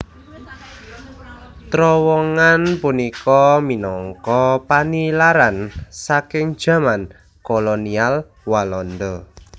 Trowongan punika minangka panilaran saking jaman kolonial Walanda